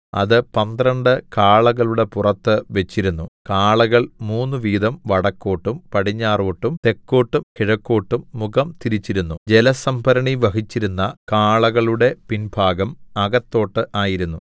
അത് പന്ത്രണ്ട് കാളകളുടെ പുറത്തു വെച്ചിരുന്നു കാളകൾ മൂന്നു വീതം വടക്കോട്ടും പടിഞ്ഞാറോട്ടും തെക്കോട്ടും കിഴക്കോട്ടും മുഖം തിരിച്ചിരുന്നു ജലസംഭരണി വഹിച്ചിരുന്ന കാളകളുടെ പിൻഭാഗം അകത്തോട്ട് ആയിരുന്നു